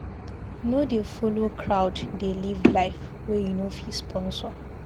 No dey folo crowd dey live life wey you no fit sponsor.